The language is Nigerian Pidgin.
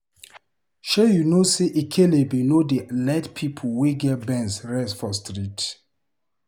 Shey you no sey ekelebe no dey let pipo wey get Benz rest for street.